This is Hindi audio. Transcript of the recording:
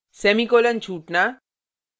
semicolon ; छूटना